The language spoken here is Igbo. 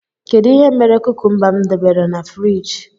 Kedụ ihe mere kúkúmba m debere n' fruidge?